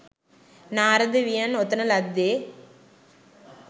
නාරද වියන් ඔතන ලද්දේ